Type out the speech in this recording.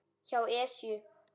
hjá Esju.